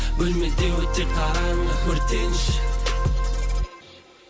бөлмеде өте қараңғы өртенші